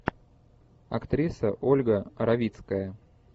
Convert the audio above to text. актриса ольга равицкая